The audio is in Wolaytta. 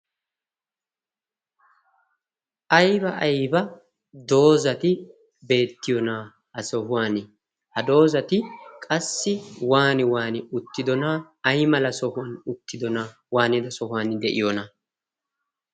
Aybba aybba doozati beettiyoonaa ha sohuwan? ha doozati qassi waani waani uttidonaa ay mala sohuwan uttidona waanida sohuwan de7iyoona?